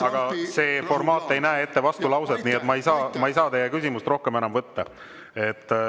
Aga see formaat ei näe ette vastulauset, nii et ma ei saa teie küsimust rohkem enam võtta.